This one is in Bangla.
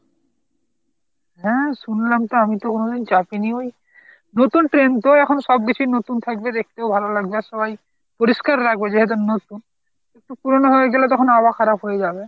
হা শুনলাম তো আমি তো কোনোদিন চাপিনী ওই নতুন train তো এখন সবকিছুই নতুন থাকবে, দেখতেও ভাল লাগবে আর সবাই পরিষ্কার রাখবে যেহেতু নতুন। পুরানো হয়ে গেলে তখন আবার খারাপ হয়ে যাবে।